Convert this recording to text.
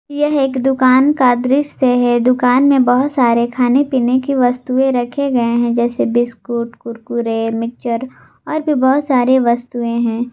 यह एक दुकान का दृश्य है दुकान में बहुत सारे खाने पीने की वस्तुएं रखे गए है जैसे बिस्कुट कुरकुरे मिक्चर और भी बहुत सारी वस्तुएं हैं।